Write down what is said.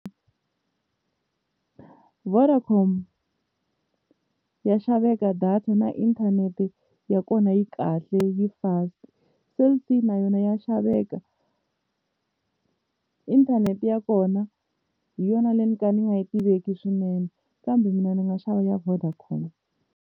Vodacom ya xaveka data na inthanete ya kona yi kahle yi fast. Cell C na yona ya xaveka, inthanete ya kona hi yona leyi no ka ni nga yi tiveki swinene kambe mina ndzi nga xava ya Vodacom.